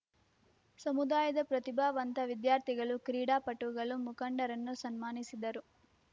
ಸಮುದಾಯದ ಪ್ರತಿಭಾವಂತ ವಿದ್ಯಾರ್ಥಿಗಳು ಕ್ರೀಡಾಪಟುಗಳು ಮುಖಂಡರನ್ನು ಸನ್ಮಾನಿಸಿದರು